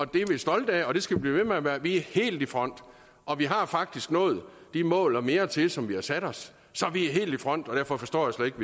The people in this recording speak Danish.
det er vi stolte af og det skal vi blive ved med at være vi er helt i front og vi har faktisk nået de mål og mere til som vi har sat os så vi er helt i front og derfor forstår jeg slet ikke